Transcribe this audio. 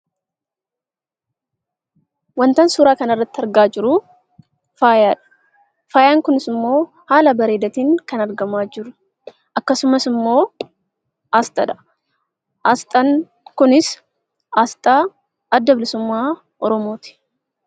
Wantan suuraa kana irratti argaa jiru faayaadha. Faayaan kunis immoo haala bareedaatiin kan argamaa jiru. Akkasumas immoo aasxaadha. Aasxaan kunis aasxaa Adda Bilisummaa Oromooti.